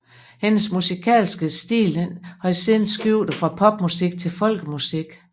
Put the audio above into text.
Hendes musikalske stil har siden skiftet fra pop til folkemusik